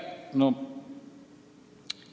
Aitäh!